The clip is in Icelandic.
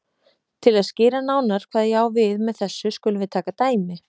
Til að skýra nánar hvað ég á við með þessu skulum við taka dæmi